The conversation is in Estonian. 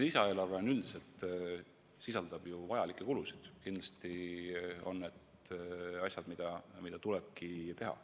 Lisaeelarve üldiselt ju sisaldab vajalikke kulusid, kindlasti on need asjad, mida tulebki teha.